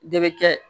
De bɛ kɛ